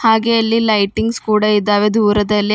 ಹಾಗೆ ಅಲ್ಲಿ ಲೈಟಿಂಗ್ಸ್ ಕೂಡ ಇದಾವೆ ದೂರದಲ್ಲಿ--